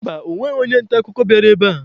Mba, ọ nweghị onye nta akụkọ bịara ebe a.